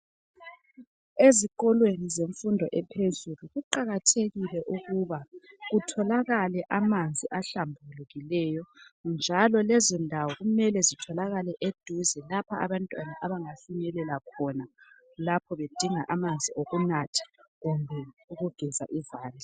Ezikolweni zemfundo ephezulu kuqakathekile ukuba kutholakale amanzi ahlambulukileyo. Njalo lezondawo kumele zitholakale eduze, lapho abantwana bafinyelela khona lapho bedinga amanzi okunatha kumbe okugeza izandla.